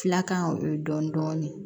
Filakan o ye dɔɔnin dɔɔnin